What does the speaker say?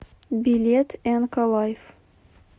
билет энка лайф